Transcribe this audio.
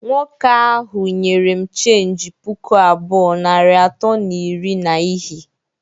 Nwoke ahụ nyere m cheenji puku abụọ, narị atọ na iri na ihi